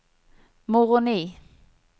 Moroni